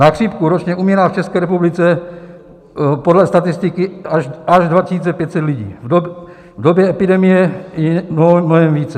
Na chřipku ročně umírá v České republice podle statistiky až 2 500 lidí, v době epidemie i mnohem více.